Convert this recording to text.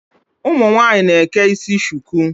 Ụmụ nwaanyị na-eke isi shuku.